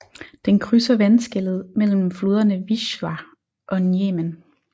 Den krydser vandskellet mellem floderne Wisła og Njemen